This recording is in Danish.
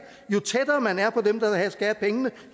skal have pengene